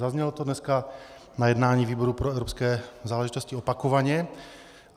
Zaznělo to dneska na jednání výboru pro evropské záležitosti opakovaně.